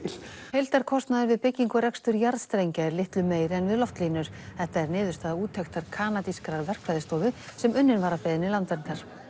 heildarkostnaður við byggingu og rekstur jarðstrengja er litlu meiri en við loftlínur þetta er niðurstaða úttektar kanadískrar verkfræðistofu sem unnin var að beiðni Landverndar